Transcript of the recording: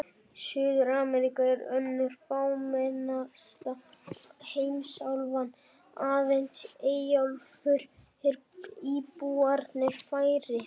Suður-Ameríka er önnur fámennasta heimsálfan, aðeins í Eyjaálfu eru íbúarnir færri.